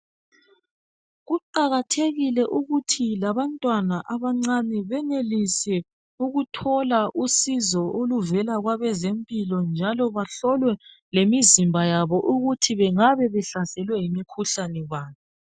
Kuqakathekile ukuthi labantwana abancane benelise ukuthola usizo oluvela kwabezempilakahle njalo bahlolwe lemizimba yabo ukuthi bengabe behlaselwe yimikhuhlane bani.